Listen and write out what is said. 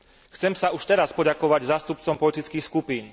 Chcem sa už teraz poďakovať zástupcom politických skupín.